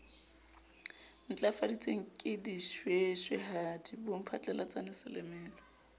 ntlafaditsweng ke dishweshwehadi bomphatlalatsane selemela